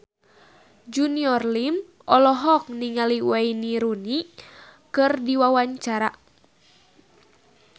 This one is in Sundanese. Junior Liem olohok ningali Wayne Rooney keur diwawancara